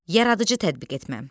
Yaradıcı tətbiq etmə.